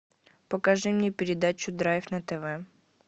покажи мне передачу драйв на тв